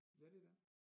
Ja det er den